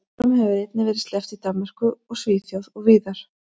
Bjórum hefur einnig verið sleppt í Danmörku og Svíþjóð og víðar.